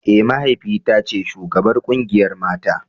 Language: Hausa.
Eh mahaifi ta ce shugabar kungiyar mata.